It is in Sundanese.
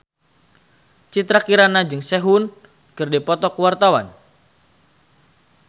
Citra Kirana jeung Sehun keur dipoto ku wartawan